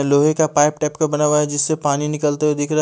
लोहे का पाइप टेक पे बना हुआ हैं जिससे पानी निकलते हुए दिख रा --